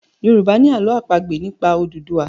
Yorùbá ni àlọ́ àpagbè nípa Odùduwa